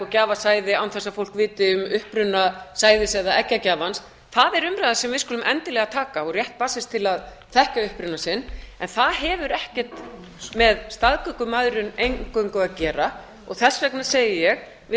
gjafasæði án þess að fólk viti um uppruna sæðis eða eggjagjafans það er umræða sem við skulum endilega taka og rétt barnsins til að þekkja uppruna sinn en það hefur ekkert með staðgöngumæðrun eingöngu að gera þess vegna segi ég við